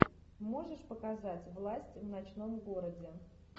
можешь показать власть в ночном городе